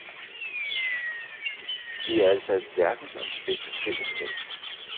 Det er altså et verdensomspændende fællesskab.